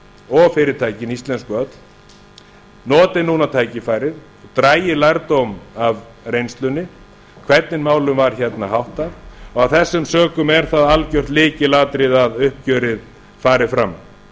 og fyrirtækin íslensku öll noti núna tækifærið dragi lærdóm af reynslunni hvernig málum var háttað og af þessum sökum er það algert lykilatriði að uppgjörið fari fram